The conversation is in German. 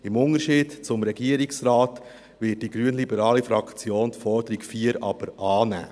Im Unterschied zum Regierungsrat wird die grünliberale Fraktion die Forderung 4 aber annehmen.